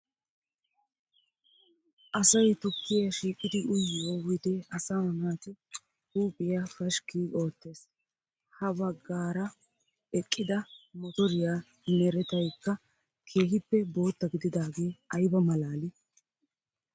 Asay tukkiya shiiqidi uyiyo wide asaa naati huuphiya pashikki oottees. Ha baggaara eqida motoriya merettaykka keehippe bootta gidaagee ayba malaallii!